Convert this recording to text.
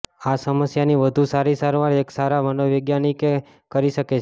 આ સમસ્યાની વધુ સારી સારવાર એક સારા મનોવિજ્ઞાની કરી શકે છે